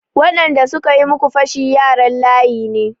Waɗanda suka yi muku fashi yaran layi ne.